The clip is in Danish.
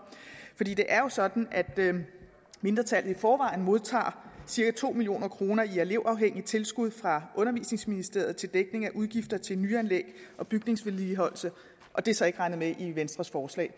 det er jo sådan at mindretallet i forvejen modtager cirka to million kroner i elevafhængigt tilskud fra undervisningsministeriet til dækning af udgifter til nyanlæg og bygningsvedligeholdelse og det er så ikke regnet med i venstres forslag